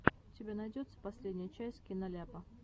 у тебя найдется последняя часть киноляпа